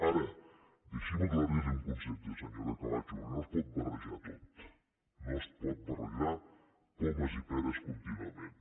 ara deixi’m aclarir li un concepte senyora camacho perquè no es pot barrejar tot no es pot barrejar pomes i peres contínuament